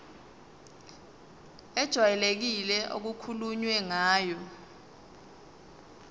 ejwayelekile okukhulunywe ngayo